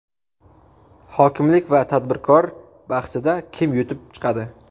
Hokimlik va tadbirkor bahsida kim yutib chiqadi?.